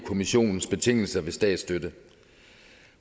kommissionens betingelser for statsstøtte